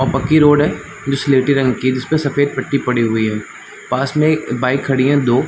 वो पक्की रोड है स्लेटी रंग की जिस में सफ़ेद पट्टी पड़ी हुई है पास में बाइक खड़ी है दो --